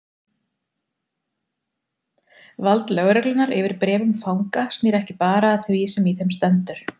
Vald lögreglunnar yfir bréfum fanga snýr ekki bara að því sem í þeim stendur.